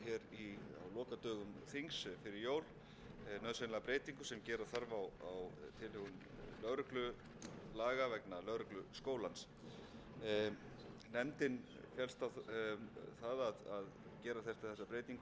lokadögum þings fyrir jól nauðsynlega breytingu sem gera þarf á tilhögun lögreglulaga vegna lögregluskólans nefndin féllst á það að gera þessa breytingu í skyndi það er